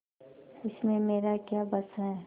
उसमें मेरा क्या बस है